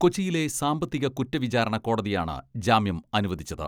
കൊച്ചിയിലെ സാമ്പത്തിക കുറ്റവിചാരണ കോടതിയാണ് ജാമ്യം അനുവദിച്ചത്.